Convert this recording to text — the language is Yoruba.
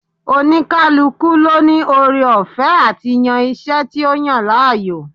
Oníkálukú ló ní ore ọ̀fẹ́ àti yan iṣẹ́ tí ó yàn láàyò